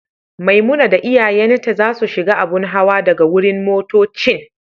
Maimuna da iyayen ta za su shiga abun hawa daga wurin motoccin.